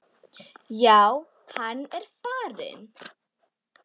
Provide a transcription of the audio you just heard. Já, hann er farinn